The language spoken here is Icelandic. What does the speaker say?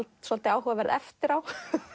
svolítið áhugaverð eftir á